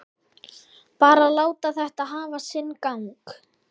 Bara láta þetta hafa sinn gang.